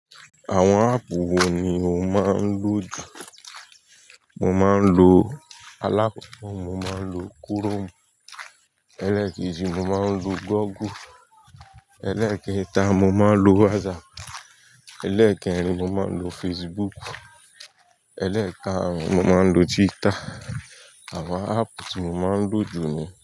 Àwọn àpp wo ni máa ń lò jù? Mo máa ń lo alákoko, mo máa ń lo Chrome. Elékéji, mo máa ń lo Google. Elékéta, mo máa ń lo WhatsApp. Elékerin, mo maa ń lo Facebook. Elékaàrún, mo máa ń lo Twitter. Àwọn áàpù tí mo máa ń lò jù ni.